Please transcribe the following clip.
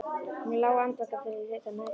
Hún lá andvaka fyrri hluta nætur.